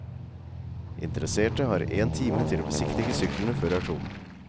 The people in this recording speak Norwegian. Interesserte har en time til å besiktige syklene før auksjonen.